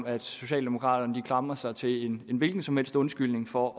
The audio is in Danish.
at socialdemokraterne klamrer sig til en hvilken som helst undskyldning for